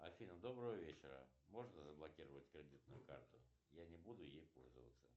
афина доброго вечера можно заблокировать кредитную карту я не буду ей пользоваться